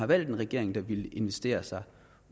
valgte en regering der ville investere sig